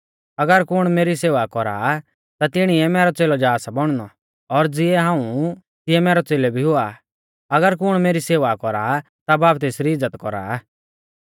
अगर कुण मेरी सेवा कौरा आ ता तिणीऐ मैरौ च़ेलौ जा सा बौणनौ और ज़िऐ हाऊं ऊ तिऐ मैरौ च़ेलौ भी हुआ अगर कुण मेरी सेवा कौरा ता बाब तेसरी इज़्ज़त कौरा आ